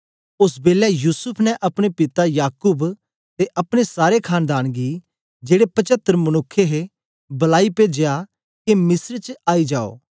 ओस बेलै युसूफ ने अपने पिता याकूब ते अपने सारे खानदान गी जेड़े पचतर मनुक्ख हे बलाई पेजया के मिस्र च आई जाओ